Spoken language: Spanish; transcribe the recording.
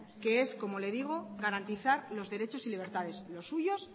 que es como le digo garantizar los derechos y libertades los suyos